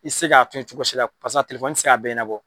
I tɛ se ka fɛn cogosi la pasa a tɛ se k'a bɛɛ